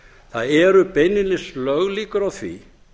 það eru beinlínis löglíkur á því